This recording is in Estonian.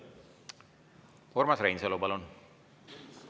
Urmas Reinsalu, palun!